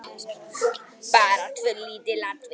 Söguleg urðu bara tvö lítil atvik.